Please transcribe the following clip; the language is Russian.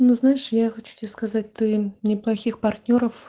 ну знаешь я хочу тебе сказать ты не плохих партнёров